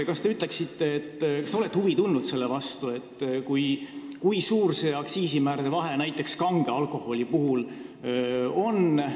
Kas te olete huvi tundnud, kui suur see aktsiisimäärade vahe näiteks kange alkoholi puhul on?